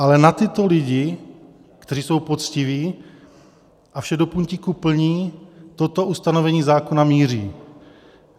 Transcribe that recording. Ale na tyto lidi, kteří jsou poctiví a vše do puntíku plní, toto ustanovení zákona míří.